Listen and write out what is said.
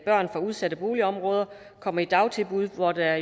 børn fra udsatte boligområder kommer i dagtilbud hvor der